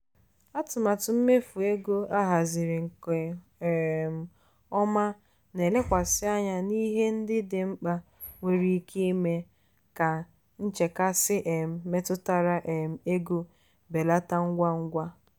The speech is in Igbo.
atụmatụ mmefu ego ahaziri nke um ọma na-elekwasị anya na ihe ndị dị mkpa nwere ike ime ka nchekasị um metụtara um ego belata ngwa ngwa.